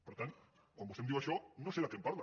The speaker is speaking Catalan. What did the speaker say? per tant quan vostè em diu això no sé de què em parla